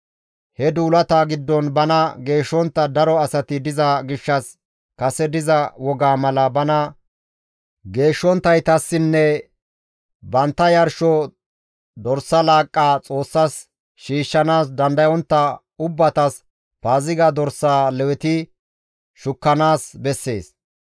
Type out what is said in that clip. He duulata giddon bana geeshshontta daro asati diza gishshas kase diza wogaa mala bana geeshshonttaytassinne bantta yarsho dorsa laaqqa Xoossas shiishshanaas dandayontta ubbatas Paaziga dorsaa Leweti shukkanaas bessees.